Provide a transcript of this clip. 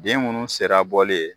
Den munnu sera bɔli ye.